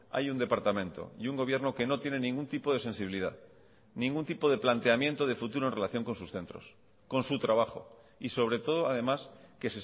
hay un departamento y un gobierno que no tienen ningún tipo de sensibilidad ningún tipo de planteamiento de futuro en relación con sus centros con su trabajo y sobre todo además que